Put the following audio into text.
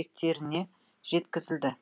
бекеттеріне жеткізілді